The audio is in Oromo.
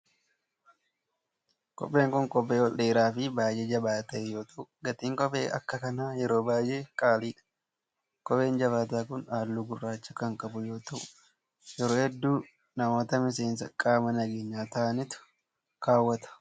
Kopheen kun, kophee ol dheeraa fi baay'ee jabaataa ta'e yoo ta'u, gatiin kophee akka kanaa yeroo baay'ee qaali dha. Kopheen jabaataa kun, haalluu gurraacha kan qabu yoo ta'u ,yeroo hedduu namoota miseensa qaama nageenyaa ta'anitu kaawwata.